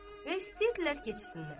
Və istəyirdilər keçsinlər.